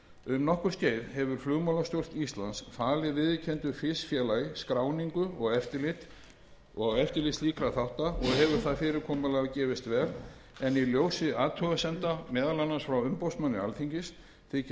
um nokkurt skeið hefur flugmálastjórn íslands falið viðurkenndu fisfélagi skráningu og eftirlit slíkra þátta og hefur það fyrirkomulag gefist vel en í ljósi athugasemda meðal annars frá umboðsmanni alþingis þykir